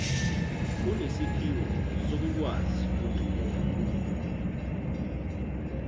unesiphiwo sokukwazi ukuncokola